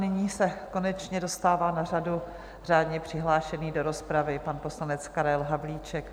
Nyní se konečně dostává na řadu řádně přihlášený do rozpravy pan poslanec Karel Havlíček.